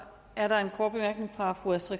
pokkers